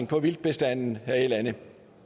på vildtbestanden her i landet